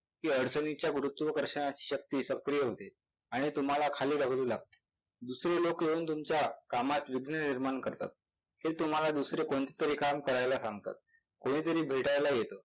कि अडचणीच्या गुरुत्व्कार्ष्णाची शक्ती सक्रीय होते आणि तुम्हाला खाली ढकलू लागते. दुसरे लोक येऊन तुमच्या कामात विघ्ने निर्माण करतात. ते तुम्हाला कोणतेतरी काम करायला सांगतात. कुणीतरी भेटायला येतात,